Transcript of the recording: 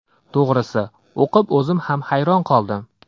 To‘g‘risi, o‘qib o‘zim ham hayron qoldim.